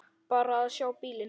Bara að sjá bílinn.